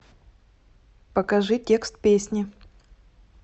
покажи текст песни